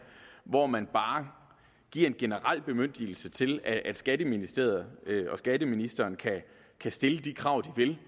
hvor man bare giver en generel bemyndigelse til at skatteministeriet og skatteministeren kan stille de krav de vil